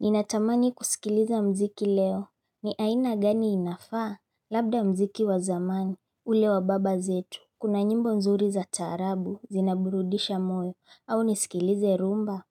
Ninatamani kusikiliza mziki leo, ni aina gani inafaa, labda mziki wa zamani, ule wa baba zetu, kuna nyimbo mzuri za taarabu, zinaburudisha moyo, au nisikilize rumba,